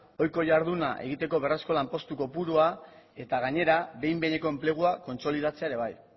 ohiko jarduna egiteko berrez lanpostu kopurua eta gainera behin betiko enplegua kontzolidatzea ere bai